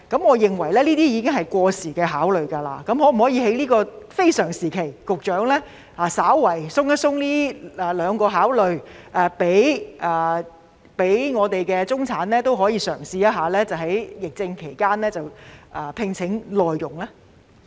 我認為這些已是過時的想法，局長可否在這個非常時期稍為放寬這兩方面的考慮，讓中產人士可以嘗試在疫症期間聘請內傭呢？